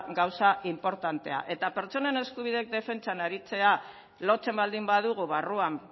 gauza inportantea eta pertsonen eskubideen defentsa aritzea lotzen baldin badugu barruan